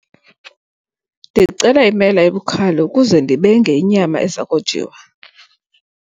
Ndicela imela ebukhali ukuze ndibenge inyama eza kojiwa.